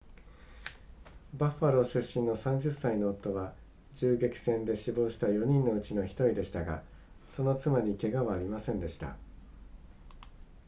バッファロー出身の30歳の夫は銃撃戦で死亡した4人のうちの1人でしたがその妻に怪我はありませんでした